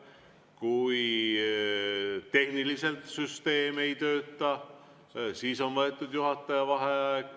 Või kui tehniline süsteem ei tööta, siis on võetud juhataja vaheaeg.